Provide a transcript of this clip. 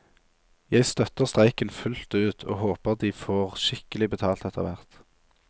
Jeg støtter streiken fullt ut, og håper de får skikkelig betalt etterhvert.